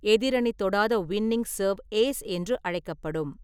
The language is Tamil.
எதிரணி தொடாத வின்னிங் சர்வ் 'ஏஸ்' என்று அழைக்கப்படும்.